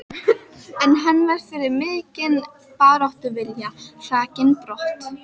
En hann var fyrir mikinn baráttuvilja hrakinn brott.